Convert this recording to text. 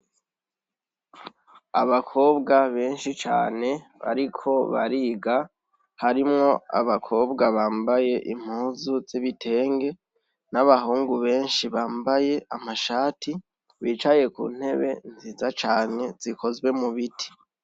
Abakobwa benshi cane bariko bariga harimwo abakobwa bambaye impuzu zibitenge n'abahungu benshi bambaye amashati bicaye ku ntebe nziza cane zikozwe mu biti.